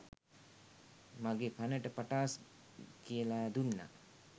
මගෙ කනට පටාස් කියලා දුන්නා.